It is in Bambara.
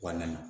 Wa na